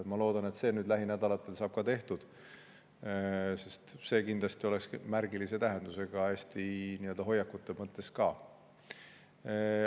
Ma loodan, et see saab nüüd lähinädalatel tehtud, sest see kindlasti oleks märgilise tähendusega, hoiakute mõttes ka.